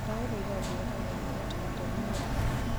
ndagũthaitha ongerera gĩathĩ mũtaratara-inĩ wakwa